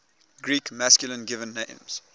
greek masculine given names